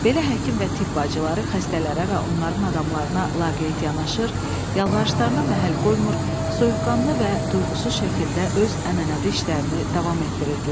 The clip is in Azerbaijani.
Belə həkim və tibb bacıları xəstələrə və onların adamlarına laqeyd yanaşır, yalvarışlarına məhəl qoymur, soyuqqanlı və duyğusuz şəkildə öz ənənəvi işlərini davam etdirirdilər.